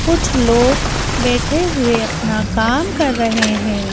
कुछ लोग बैठे हुए अपना काम कर रहे हैं।